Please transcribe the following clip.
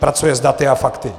Pracuje s daty a fakty.